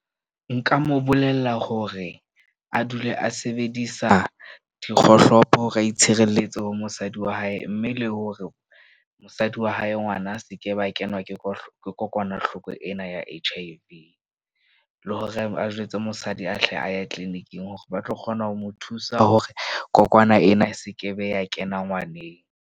Nka mo bolella hore a dule a sebedisa dikgohlopo hore a itshireletse ho mosadi wa hae. Mme le hore mosadi wa hae ngwana a se ke ba kenwa ke kokwanahloko ena ya H_I_V le hore a jwetse mosadi a hle a ye clinic-ing hore ba tlo kgona ho mo thusa hore kokwana ena e sekebe ya kena ngwaneng.